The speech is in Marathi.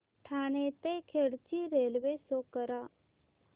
ठाणे ते खेड ची रेल्वे शो करा